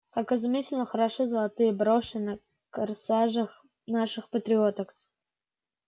как изумительно хороши золотые броши на корсажах наших патриоток